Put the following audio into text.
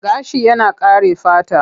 Gashi yana kare fata.